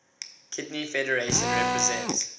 kidney federation represents